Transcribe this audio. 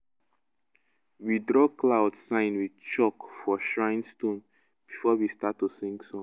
we draw cloud sign with chalk for shrine stone before we start to sing song